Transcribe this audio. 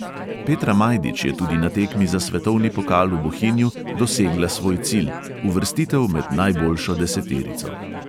Petra majdič je tudi na tekmi za svetovni pokal v bohinju dosegla svoj cilj – uvrstitev med najboljšo deseterico.